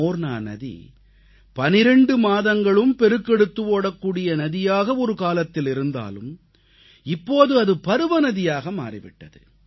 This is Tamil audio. மோர்னா நதி 12 மாதங்களும் பெருக்கெடுத்து ஓடக்கூடிய நதியாக ஒருகாலத்தில் இருந்தாலும் இப்போது அது பருவநதியாக மாறிவிட்டது